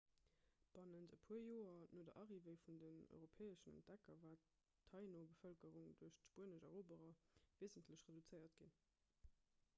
bannent e puer joer no der arrivée vun den europäeschen entdecker war d'taíno-bevëlkerung duerch d'spuenesch eroberer weesentlech reduzéiert ginn